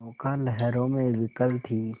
नौका लहरों में विकल थी